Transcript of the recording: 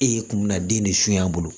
E kun bɛ na den de su a bolo